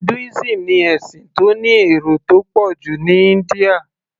Hinduism ni ẹ̀sìn tó ní èrò tó pọ̀ jù ní India